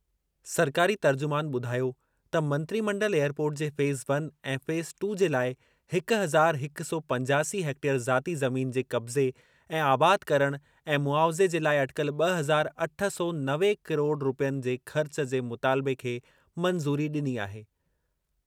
सरकारी तर्जुमान ॿुधायो त मंत्रिमंडल एयरपोर्ट जे फ़ेज़ वन ऐं फ़ेज़ टू जे लाइ हिक हज़ार हिक सौ पंजासी हेक्टेयर ज़ाती ज़मीन जे क़ब्ज़े ऐं आबाद करणु ऐं मुआविज़े जे लाइ अटिकल ब॒ हज़ार अठ सौ नवे किरोड़ रूपयनि जे ख़र्च जे मुतालिबे खे मंज़ूरी डि॒नी आहे।